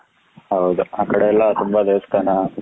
ಹೌದಾ ಆ ಕಡೆ ಎಲ್ಲ ತುಂಬಾ ದೇವಸ್ಥಾನ,